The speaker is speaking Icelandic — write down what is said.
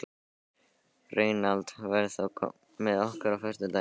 Reynald, ferð þú með okkur á föstudaginn?